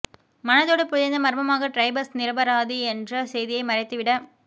மனதோடு புதைந்த மர்மமாக டிரைபஸ் நிரபராதி என்ற செய்தியை மறைத்துவிட